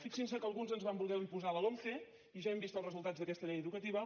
fixin se que alguns ens van voler imposar la lomce i ja hem vist els resultats d’aquesta llei educativa